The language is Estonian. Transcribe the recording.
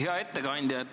Hea ettekandja!